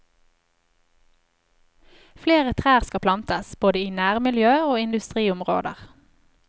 Flere trær skal plantes, både i nærmiljø og industriområder.